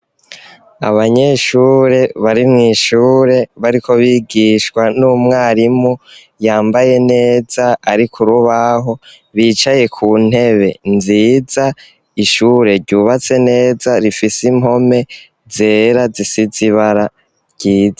Abanyeshure bari mw'ishure bariko bigishwa n'umwarimu, yambaye neza ari k'urubaho, bicaye kuntebe nziza, ishure ryubatswe neza rifise impome zera zisize ibara ryiza.